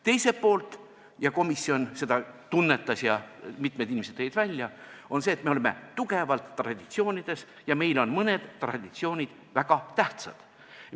Teiselt poolt – komisjon seda tunnetas ja mitmed inimesed tõid seda välja –, me oleme tugevalt traditsioonides kinni ja meile on mõned traditsioonid väga tähtsad.